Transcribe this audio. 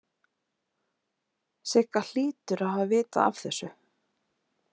Sigga hlýtur að hafa vitað af þessu.